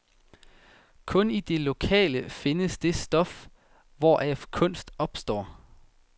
Kun i det lokale findes det stof, hvoraf kunst opstår.